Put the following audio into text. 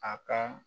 A ka